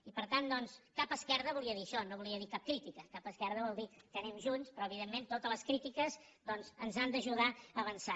i per tant doncs cap esquerda volia dir això no volia dir cap crítica cap esquerda vol dir que anem junts però evidentment totes les crítiques doncs ens han d’ajudar a avançar